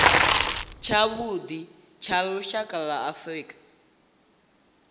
tshavhuḓi tsha lushaka lwa afrika